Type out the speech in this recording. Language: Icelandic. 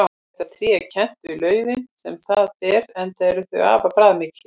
Þetta tré er kennt við laufin sem það ber enda eru þau afar bragðmikil.